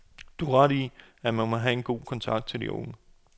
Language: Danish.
De har ret i, at man må have god kontakt til de unge.